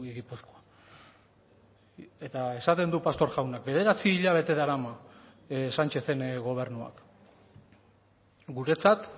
gipuzkoa eta esaten du pastor jaunak bederatzi hilabete darama sánchezen gobernuak guretzat